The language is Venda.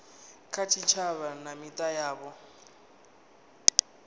kha tshitshavha na mita yavho